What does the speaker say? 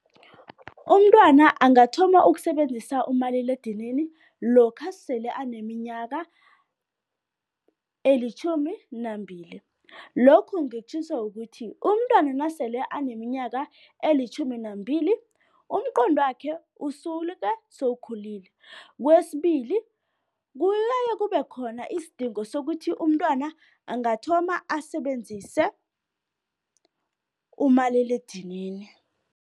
Umntwana angathoma ukusebenzisa umaliledinini lokha sele aneminyaka elitjhumi nambili. Lokhu ngikutjhiso ukuthi, umntwana nasele aneminyaka elitjhumi nambili umqondwakhe usuke sewukhulile, kwesibili, kube khona isidingo sokuthi umntwana angathoma asebenzise umaliledinini.